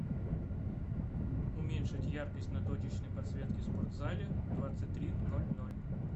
уменьшить яркость на точечной подсветке в спортзале в двадцать три ноль ноль